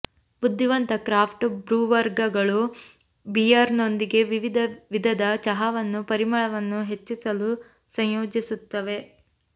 ಬುದ್ಧಿವಂತ ಕ್ರಾಫ್ಟ್ ಬ್ರೂವರ್ಗಳು ಬಿಯರ್ನೊಂದಿಗೆ ವಿವಿಧ ವಿಧದ ಚಹಾವನ್ನು ಪರಿಮಳವನ್ನು ಹೆಚ್ಚಿಸಲು ಸಂಯೋಜಿಸುತ್ತವೆ